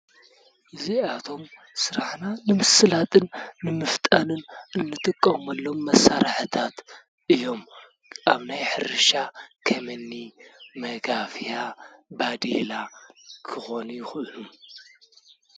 እዚኣቶም ስራሕና ንምስላጥን ንምፍጣንን እንጥቀመሎም መሳርሒታት እዬም። ኣብ ናይ ሕርሻ ኸምኒ መጋፍያ ፣ ባዴላ ኽኾኑ ይኽእሉ።